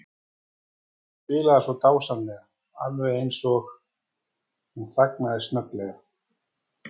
Hún spilar svo dásamlega, alveg eins og. Hún þagnaði snögglega.